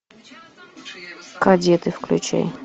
кадеты включай